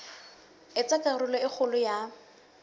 etsa karolo e kgolo ya